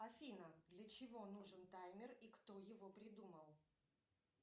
афина для чего нужен таймер и кто его придумал